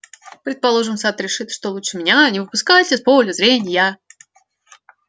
предположим сатт решит что лучше меня не выпускать из поля зрения